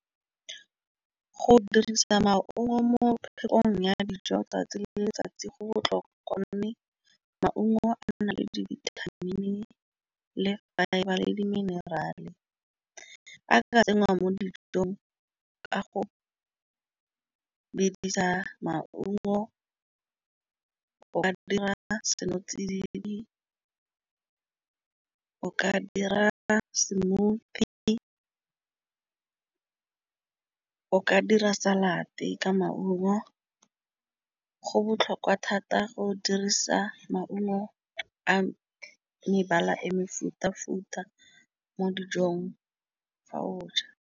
Go dirisa maungo mo phetogong ya dijo tsatsi le letsatsi go botlhokwa go nne maungo a nna le di-vitamin-i le fibre le di-mineral-e a ka tsenngwa mo dijong ka go ke dirisa maungo. O ka dira seno tsididi ka dira smoothie ka ka dira salad te ka maungo. Go botlhokwa thata go dirisa maungo a mebala e mefutafuta mo dijong fa o ja.